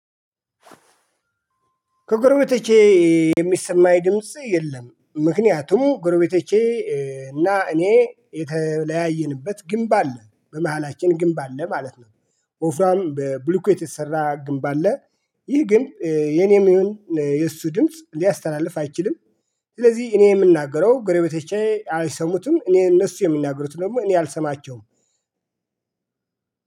ከጎረቤቶቼ የሚሰማኝ ድምጽ የለም ምክንያቱም ጎረቤቶቼ እና እኔ የተለያየንበት ግንብ አለ በመሃላችን ግንብ አለ ማለት ነው። ወፍራም በብሉኬት የተሰራ ግንብ አለ። ይህ ግን የኔም ይሁን የእሱ ድምጽ ሊያስተላልፍ አይችልም። ስለዚህ እኔ የምናገረው ጎረቤቶቼ አይሰሙትም እኔ እነሱ የሚናገሩት ደግሞ እኔ አልሰማቸውም።